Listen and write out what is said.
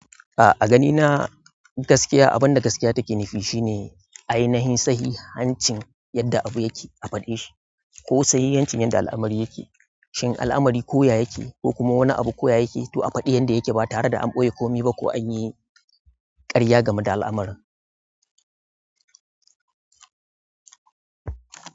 A a ganina gaskiya abinda gaskiya take nufi shine ainihin sahihancin yadda abu yake a fade shi ko sahihancin yanda alamari yake. Shin al'amari koya yake ko kuma wani abu koya yake, to a faɗi yanda yake ba tare da an ɓoye komi ba ko an yi ƙarya game da al'amaran.